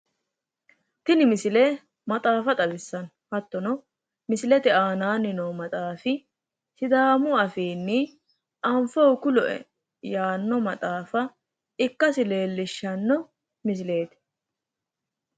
Tini misile maxaafa xawissanno hattono misilete aanaani noo maxaafi sidaamu afiinni anfohu kulo"e yaanno maxaafa ikkasi leellishshanno misileeti.